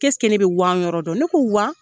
ne bɛ Wan yɔrɔ dɔn? Ne ko Wan?